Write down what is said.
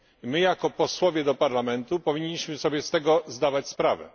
My, jako posłowie do Parlamentu, powinniśmy sobie z tego zdawać sprawę.